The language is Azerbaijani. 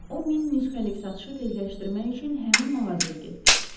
O min nüsxəlik satışı tezləşdirmək üçün həmin mağazaya getdi.